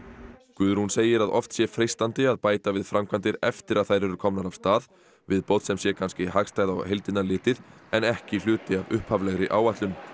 Guðrún segir að oft sé freistandi að bæta við framkvæmdir eftir að þær eru komnar af stað viðbót sem sé kannski hagstæð á heildina litið en ekki hluti af upphaflegri áætlun